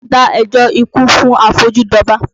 Dá ẹjọ́ ikú fún afojú dọba!